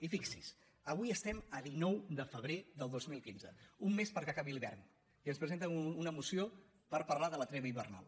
i fixi’s avui estem a dinou de febrer de dos mil quinze un mes perquè acabi l’hivern i ens presenten una moció per parlar de la treva hivernal